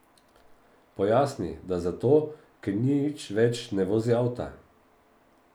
Pojasni, da zato, ker nič več ne vozi avta.